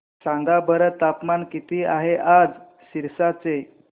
सांगा बरं तापमान किती आहे आज सिरसा चे